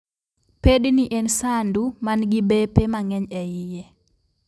Pedni en sandu man gi bepe mang'eny e iye